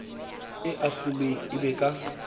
e ahlolwe e be ka